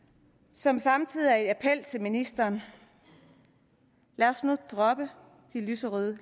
som samtidig er en appel til ministeren lad os nu droppe de lyserøde